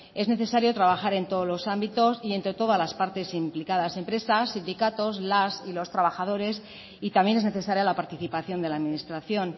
es necesario trabajar en todos los ámbitos y entre todas las partes implicadas empresas sindicatos las y los trabajadores y también es necesaria la participación de la administración